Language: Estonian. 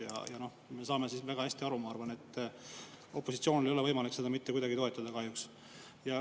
Ja ma arvan, et me kõik saame väga hästi aru, et opositsioonil ei ole võimalik seda eelnõu mitte kuidagi toetada, kahjuks.